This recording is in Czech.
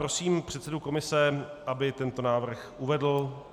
Prosím předsedu komise, aby tento návrh uvedl.